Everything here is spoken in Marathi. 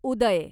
उदय